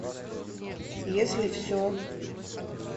если все